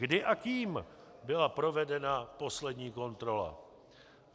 Kdy a kým byla provedena poslední kontrola?